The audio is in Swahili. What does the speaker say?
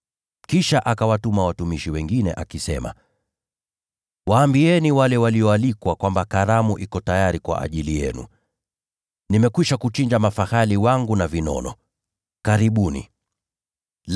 “Kisha akawatuma watumishi wengine akisema, ‘Waambieni wale walioalikwa kwamba nimeandaa chakula. Nimekwisha kuchinja mafahali wangu na vinono, karamu iko tayari. Karibuni kwa karamu ya arusi.’